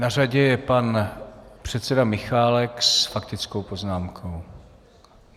Na řadě je pan předseda Michálek s faktickou poznámkou.